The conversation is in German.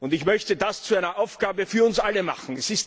Ich möchte das zu einer Aufgabe für uns alle machen.